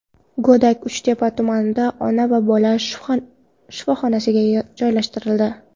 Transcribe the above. Go‘dak Uchtepa tumanidagi ona-bola shifoxonasiga joylashtirildi.